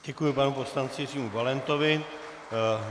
Děkuji panu poslanci Jiřímu Valentovi.